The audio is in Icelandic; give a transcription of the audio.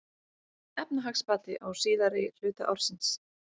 Efnahagsbati á síðari hluta ársins